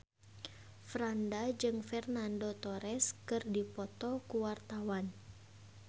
Franda jeung Fernando Torres keur dipoto ku wartawan